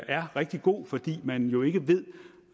er rigtig god fordi man jo ikke ved